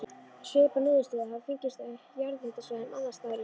Svipaðar niðurstöður hafa fengist á jarðhitasvæðum annars staðar í heiminum.